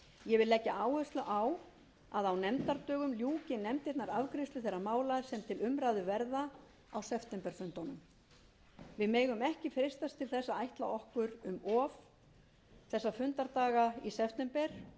ég vil leggja áherslu á að á nefndadögum ljúki nefndirnar afgreiðslu þeirra mála sem til umræðu verða á septemberfundunum við megum ekki freistast til þess að ætla okkur of mikið þessa fundardaga í september